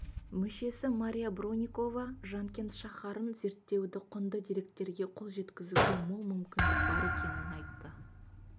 мүшесі мария броникова жанкент шаһарын зерттеуде құнды деректерге қол жеткізуге мол мүмкіндік бар екенін айтты